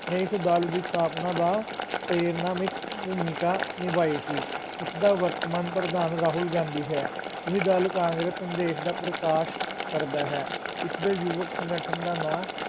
ਨੇ ਇਸ ਦਲ ਦੀ ਸਥਾਪਨਾ ਦਾ ਪ੍ਰੇਰਨਾਮਈ ਭੂਮਿਕਾ ਨਿਭਾਈ ਸੀ, ਇਸ ਦਾ ਵਰਤਮਾਨ ਪ੍ਰਧਾਨ ਰਾਹੁਲ ਗਾਂਧੀ ਹੈ, ਇਹ ਦਲ ਕਾਂਗਰਸ ਸੰਦੇਸ਼ ਦਾ ਪ੍ਰਕਾਸ਼ ਕਰਦਾ ਹੈ, ਇਸ ਦੇ ਯੁਵਕ ਸੰਗਠਨ ਦਾ ਨਾਂ,